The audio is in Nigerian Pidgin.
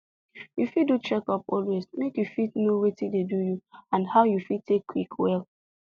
you fit do checkup always make you fit know watin dey do you and how you fit take quick well